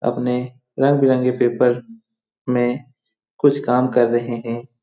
अपने रंग-बिरंगे पेपर में कुछ काम कर रहे हैं।